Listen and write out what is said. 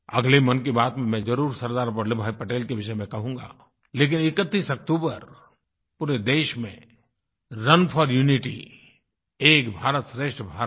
अगले मन की बात में मैं जरुर सरदार वल्लभ भाई पटेल के विषय में कहूँगा लेकिन 31 अक्तूबर पूरे देश में रुन फोर यूनिटी एक भारतश्रेष्ठ भारत